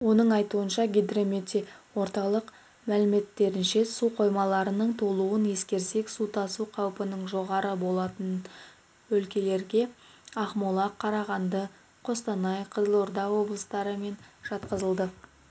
оның айтуынша гидрометеоорталық мәліметтерінше су қоймаларының толуын ескерсек су тасу қаупінің жоғары болатын өлкелерге ақмола қарағанды қостанай қызылорда облыстары мен жатқызылды